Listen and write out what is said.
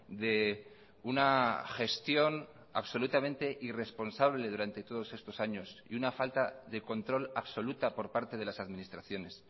de una gestión absolutamente irresponsable durante todos estos años y una falta de control absoluta por parte de las administraciones